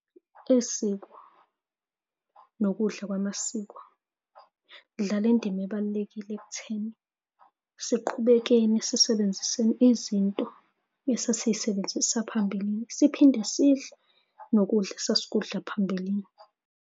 Isiko nokudla kwamasiko, kudlala indima ebalulekile ekutheni siqhubekeni sisebenziseni izinto esasisebenzisa phambilini. Siphinde sidle nokudla esasikudla phambilini.